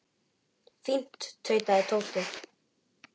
Fínt tautaði Tóti.